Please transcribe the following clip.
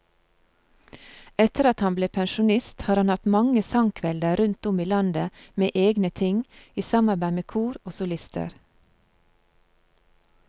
Etter at han ble pensjonist har han hatt mange sangkvelder rundt om i landet med egne ting, i samarbeid med kor og solister.